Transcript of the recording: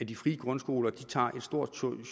de frie grundskoler tager et stort